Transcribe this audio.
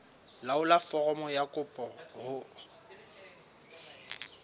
laolla foromo ya kopo ho